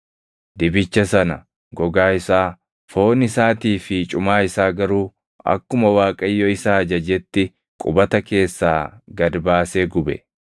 Dibicha sana, gogaa isaa, foon isaatii fi cumaa isaa garuu akkuma Waaqayyo isa ajajetti qubata keessaa gad baasee gube.